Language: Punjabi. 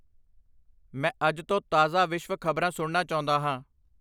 ਮੈਂ ਅੱਜ ਤੋਂ ਤਾਜ਼ਾ ਵਿਸ਼ਵ ਖਬਰਾਂ ਸੁਣਨਾ ਚਾਹੁੰਦਾ ਹਾਂ